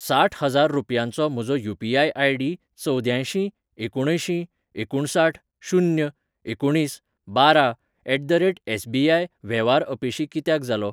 साठ हजार रुपयांचो म्हजो यू.पी.आय.आय.डी चवद्यांयसीं एकुणअंयशीं एकुणसाठ शून्य एकुणीस बारा एट द रेट एसबीआय वेव्हार अपेशी कित्याक जालो?